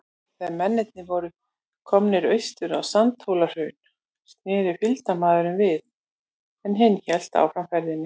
Þegar mennirnir voru komnir austur á Sandhólahraun, sneri fylgdarmaðurinn við, en hinn hélt áfram ferðinni.